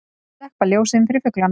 Slökkva ljósin fyrir fuglana